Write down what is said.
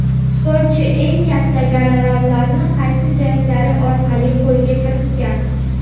Sportchi eng katta gonorarlarini qaysi janglari orqali qo‘lga kiritgan?.